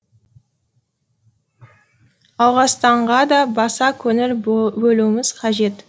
ауғанстанға да баса көңіл бөлуіміз қажет